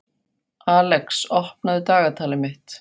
Alex, opnaðu dagatalið mitt.